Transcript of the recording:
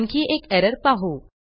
आणखी एक एरर पाहू